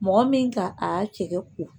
Mɔgɔ min ka a cɛkɛ ko